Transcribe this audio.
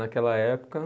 Naquela época.